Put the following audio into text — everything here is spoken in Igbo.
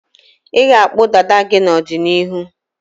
Ị ga-akpụ dada gị n'ọdịniihu?